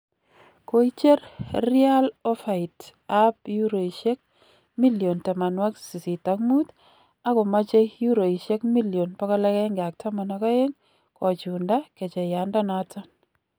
Koicher Real ofait ab euroisiek milion 85 agomoche eruisiek milion 112 kochuunda gecheyandonoton.